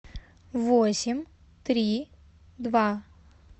восемь три два